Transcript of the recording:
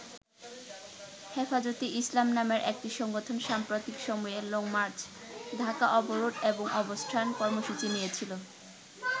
হেফাজতে ইসলাম নামের একটি সংগঠন সাম্প্রতিক সময়ে লংমার্চ, ঢাকা অবরোধ এবং অবস্থান কর্মসূচি নিয়েছিল।